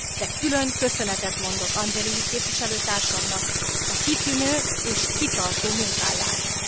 De külön köszönetet mondok Angelilli képviselőtársamnak a kitűnő és kitartó munkájáért.